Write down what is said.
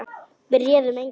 Við réðum engu lengur.